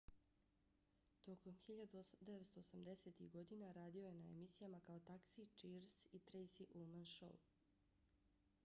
tokom 1980-ih godina radio je na emisijama kao taxi cheers i tracy ullman show